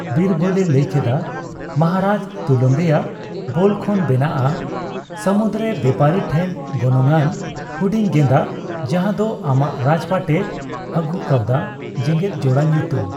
ᱵᱤᱨᱵᱚᱞᱮ ᱞᱟᱹᱭ ᱠᱮᱫᱟ, ᱢᱚᱦᱟᱨᱟᱡ, ᱛᱩᱞᱟᱹᱢ ᱨᱮᱭᱟᱜ ᱵᱳᱞ ᱠᱷᱚᱱ ᱵᱮᱱᱟᱜᱼᱟ ᱥᱟᱹᱢᱩᱫ ᱨᱮᱱ ᱵᱮᱯᱟᱨᱤ ᱴᱷᱮᱱ ᱜᱚᱱᱚᱝᱼᱟᱱ ᱦᱩᱰᱤᱧ ᱜᱮᱸᱫᱟᱜ ᱡᱟᱦᱟᱫᱚ ᱟᱢᱟᱜ ᱨᱟᱡᱯᱟᱴᱮ ᱟᱹᱜᱩ ᱠᱟᱹᱣᱫᱟ ᱡᱮᱜᱮᱫᱡᱳᱲᱟ ᱧᱩᱛᱩᱢ ᱾